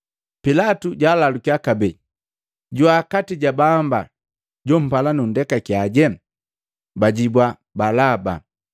Pilatu jwaalalukia kabee, “Jwaa kati ja baamba jompala nundekakiyaje?” Bajibua, “Balaba!”